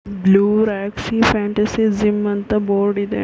Blue rocky fantasy gym ಅಂತ board ಇದೆ.